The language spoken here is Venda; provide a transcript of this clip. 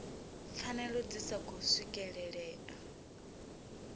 pfanelo dzi sa khou swikelelea